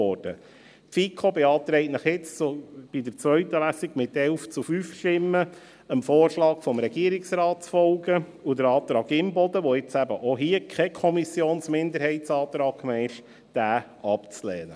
Die FiKo beantragt Ihnen nun, bei der zweiten Lesung mit 11 zu 5 Stimmen, dem Vorschlag des Regierungsrates zu folgen und den Antrag Imboden, der jetzt auch hier kein Kommissionsminderheitsantrag mehr ist, abzulehnen.